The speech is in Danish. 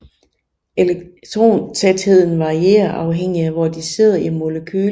Elektrontætheden varierer afhængig af hvor de sidder i molekylet